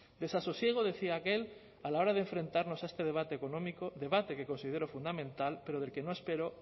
desasosiego decía aquel a la hora de enfrentarnos a este debate económico debate que considero fundamental pero del que no espero